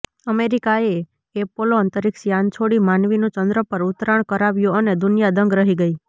અમેરિકાએ એપોલો અંતરિક્ષ યાન છોડી માનવીનું ચંદ્ર પર ઉતરાણ કરાવ્યું અને દુનિયા દંગ રહી ગઈ